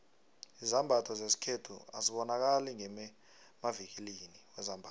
izambatho zesikhethu azibonakali ngemavikilini wezambatho